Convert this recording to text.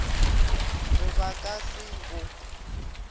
re ba ka se bo